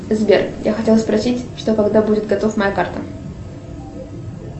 сбер я хотела спросить что когда будет готова моя карта